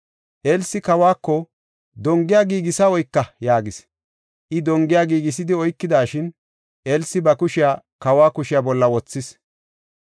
Elsi kawako, “Dongiya giigisa oyka” yaagis; I dongiya giigisidi oykidashin, Elsi ba kushiya kawa kushiya bolla wothis.